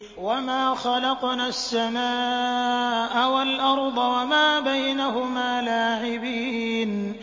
وَمَا خَلَقْنَا السَّمَاءَ وَالْأَرْضَ وَمَا بَيْنَهُمَا لَاعِبِينَ